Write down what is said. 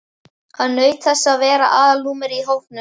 Hann naut þess að vera aðalnúmerið í hópnum.